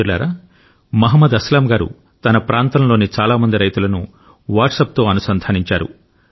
మిత్రులారామహ్మద్ అస్లాం గారు తన ప్రాంతంలోని చాలా మంది రైతులను వాట్సాప్తో అనుసంధానించారు